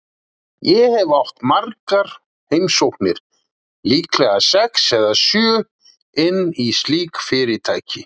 Ég hef átt margar heimsóknir, líklega sex eða sjö, inn í slík fyrirtæki.